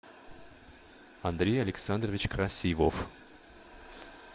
андрей александрович красивов